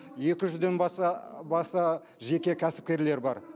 екі жүзден баса баса жеке кәсіпкерлер бар